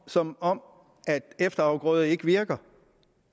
som om efterafgrøder ikke virker